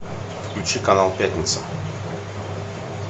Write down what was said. включи канал пятница